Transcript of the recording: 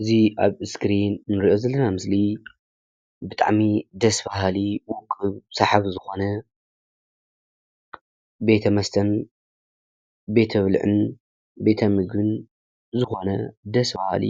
እዚ ኣብ እስክሪን እንርእዮ ዘለና ምስሊ ብጣዕሚ ደስ በሃሊ ዉቁብ ሰሓቢ ዝኾነ ቤተ መስተን ፣ቤተ ብልዕን፣ ቤተ ምግብን ዝኾነ ደስ በሃሊ